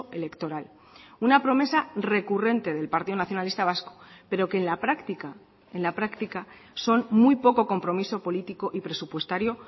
electoral una promesa recurrente del partido nacionalista vasco pero que en la práctica en la práctica son muy poco compromiso político y presupuestario